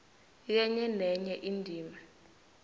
kenye nenye indima